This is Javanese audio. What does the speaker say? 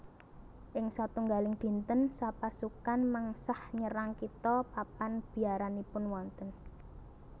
Ing satunggaling dinten sapasukan mengsah nyerang kitha papan biaranipun wonten